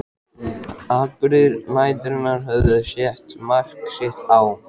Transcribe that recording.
Atburðir næturinnar höfðu sett mark sitt á